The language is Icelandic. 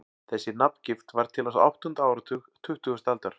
Þessi nafngift varð til á áttunda áratug tuttugustu aldar.